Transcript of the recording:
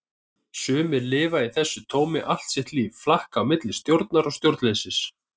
Sumir lifa í þessu tómi allt sitt líf, flakka á milli stjórnar og stjórnleysis.